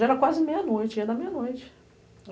Já era quase meia-noite, ia dar meia-noite.